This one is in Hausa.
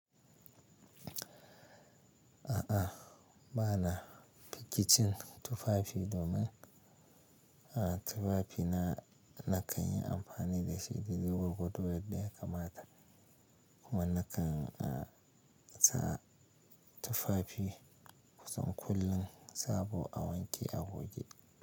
A'a, ba na fiki cin tufafi domin, ah, tufafi na, na kan yi amfani da shi da dai gargodo in da ya kamata. Kuma na kan, ah, sa tufafi kusan kullum sabo a wanke a goge.